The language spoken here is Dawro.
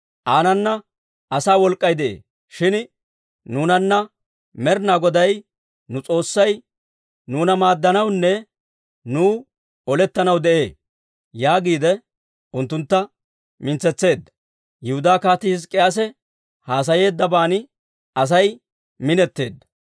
Aanana asaa wolk'k'ay de'ee; shin nuunanna Med'inaa Goday nu S'oossay nuuna maaddanawunne nuw olettanaw de'ee» yaagiide unttuntta mintsetseedda. Yihudaa Kaatii Hizk'k'iyaase haasayeeddaban Asay minetteedda.